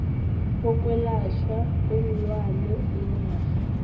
bokwelatjhwa kweenlwana benarha